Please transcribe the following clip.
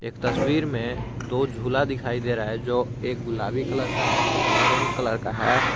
तस्वीर में दो झूला दिखाई दे रहा है जो एक गुलाबी कलर का है एक ऑरेंज कलर का है।